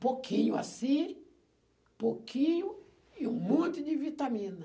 Pouquinho assim, pouquinho e um monte de vitamina.